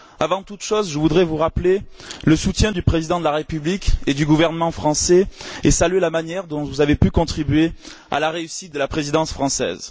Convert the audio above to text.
Avant toute chose, je voudrais vous rappeler le soutien du président de la République et du gouvernement français et saluer la manière dont vous avez pu contribuer à la réussite de la Présidence française.